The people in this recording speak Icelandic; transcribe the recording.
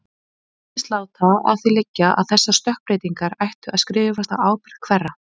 Hinn virtist láta að því liggja að þessar stökkbreytingar ættu að skrifast á ábyrgð- hverra?